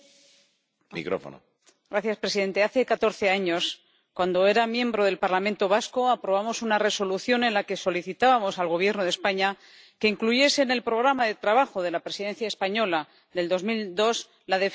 Señor presidente, hace catorce años, cuando era miembro del Parlamento vasco, aprobamos una resolución en la que solicitábamos al Gobierno de España que incluyese en el programa de trabajo de la Presidencia española del año 2002 la defensa de la tasa Tobin.